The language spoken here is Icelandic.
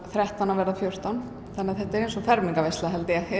þrettán að verða fjórtán þannig að þetta er eins og fermingarveisla